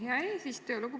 Hea eesistuja!